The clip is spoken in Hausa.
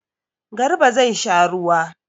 Garba zai sha ruwa.